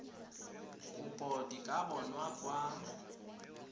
kopo di ka bonwa kwa